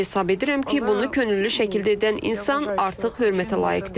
Hesab edirəm ki, bunu könüllü şəkildə edən insan artıq hörmətə layiqdir.